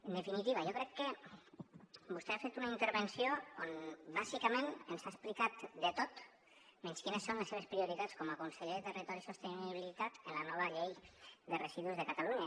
en definitiva jo crec que vostè ha fet una intervenció on bàsicament ens ha explicat de tot menys quines són les seves prioritats com a conseller de territori i sostenibilitat en la nova llei de residus de catalunya